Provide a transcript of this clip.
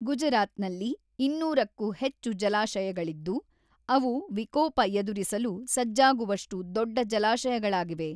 ಗುಜರಾತ್ ನಲ್ಲಿ ೨೦೦ಕ್ಕೂ ಹೆಚ್ಚು ಜಲಾಶಯಗಳಿದ್ದು, ಅವು ವಿಕೋಪ ಎದುರಿಸಲು ಸಜ್ಜಾಗುವಷ್ಟು ದೊಡ್ಡ ಜಲಾಶಯಗಳಾಗಿವೆ.